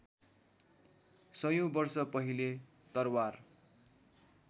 सयौँ वर्ष पहिले तरवार